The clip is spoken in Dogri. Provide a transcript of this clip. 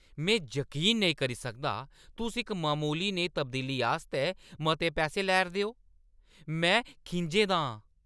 में जकीन नेईं करी सकदा, तुस इक ममूली नेही तब्दीली आस्तै मते पैसे लै 'रदे ओ। में खिंझे दा आं।